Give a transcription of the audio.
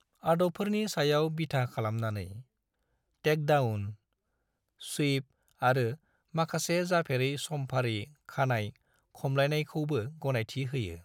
आदबफोरनि सायाव बिथा खालामनानै, टेक-दाउन, स्वीप आरो माखासे जाफेरै सम-फारि खानाय खमलायनायखौबो गनायथि होयो।